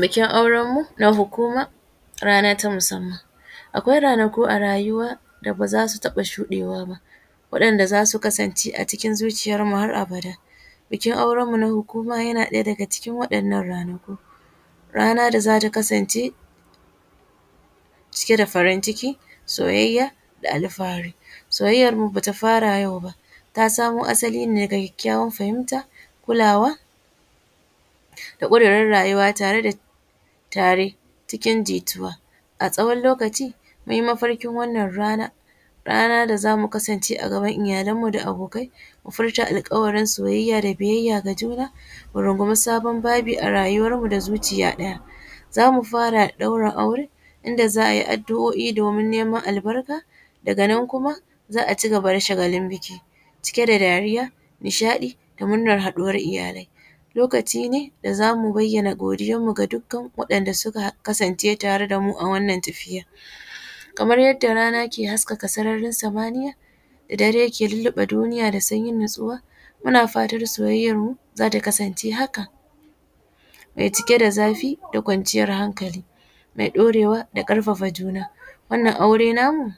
Bikin aurenmu na hukuma rana ta musamman, akwai ranaku a rayuwa da baza su taɓa shuɗewa ba waɗanɗa zasu kasance a cikin zuciyarmu har abada, bikin auranmu na hukuma yana ɗaya daga cikin waɗannan ranaku rana da zata kasance cike da farin ciki soyayya da alfahari soyayyan mu bata fara yau ba ta samo asali ne da kyakyawan fahimta kulawa da kudirin rayuwa tare cikin jituwa a tsawon lokaci mun yi mafarkin wannan rana da zamu kasance a gaban iyalan mu da abokai mu furta alkawarin soyayya da biyayya ga juna murungumi sabon babi a rayuwan mu da zuciya ɗaya zamu fara ɗaura aure da za’a yi adu’o’I domin neman albarka daga nan kuma za’a cigaba da shagalin biki cke da dariya, nishaɗi da murnan haɗuwar iyalai lokaci ne da zamu bayyana godiyan mu da dukan waɗanda suka kasance tare a wannan tafiyar, kamar yadda rana ke haskaka sararin samaniya, dare ke lullube duniya da sanyin natsuwa muna fatar soyayyarmu zata kasance haka mai cike da zafi da kwanciyar hankali mai ɗorewa da karfafa juna, wannan aure namu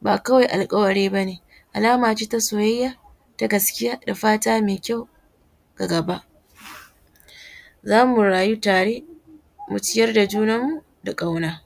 ba kawai alkawari bane alama ce ta soyayya na gaskiya da fata mai kyau a gaba, zamu rayu tare mu ciyar da junan mu da kauna.